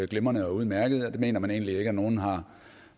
glimrende og udmærket og det mener man egentlig ikke at nogen har